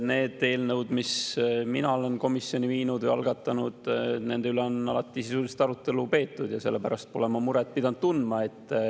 Nende eelnõude üle, mille mina olen komisjoni viinud või mida algatanud, on alati sisuliselt arutelu peetud ja sellepärast pole ma muret pidanud tundma.